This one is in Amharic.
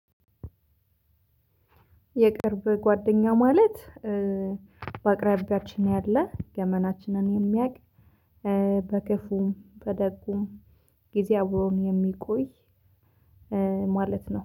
የቅርብ ጓደኛ ማለት በአቅራቢያችን ያለ ገመናችንን የሚያቅ በክፉም በደጉም ጊዜ አብሮን የሚቆይ ማለት ነው